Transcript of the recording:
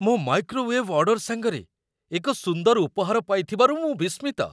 ମୋ microwave order ସାଙ୍ଗରେ ଏକ ସୁନ୍ଦର ଉପହାର ପାଇଥିବାରୁ ମୁଁ ବିସ୍ମିତ।